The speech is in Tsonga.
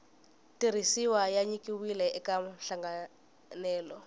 tirhisiwa ya nyikiwile eka nhlanganelo